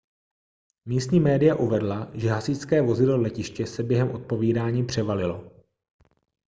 místní média uvedla že hasičské vozidlo letiště se během odpovídání převalilo